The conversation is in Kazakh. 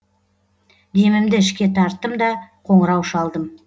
демімді ішке тарттым да қоңырау шалдым